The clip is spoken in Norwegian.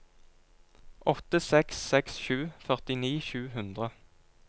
åtte seks seks sju førtini sju hundre